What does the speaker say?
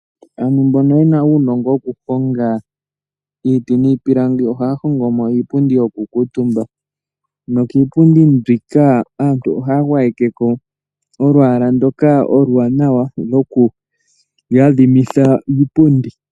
Aantu mbono yena uunongo wokuhonga iiti niipilangi ohaya hongo mo iipundi yokukuutumba. Nokiipundi mbika aantu ohaya gwayeke ko olwaala ndoka oluwanawa lwoku yadhimitha iipundi.